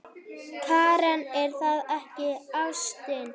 Karen: Er það ekki ástin?